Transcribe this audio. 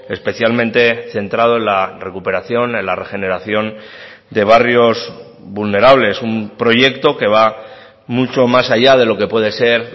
especialmente centrado en la recuperación en la regeneración de barrios vulnerables un proyecto que va mucho más allá de lo que puede ser